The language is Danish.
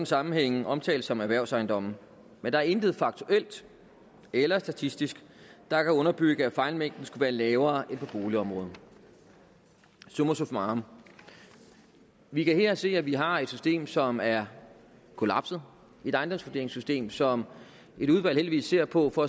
sammenhænge omtales som erhvervsejendomme men der er intet faktuelt eller statistisk der kan underbygge at fejlmængden skulle være lavere end på boligområdet summa summarum vi kan se at vi her har et system som er kollapset et ejendomsvurderingssystem som et udvalg heldigvis ser på for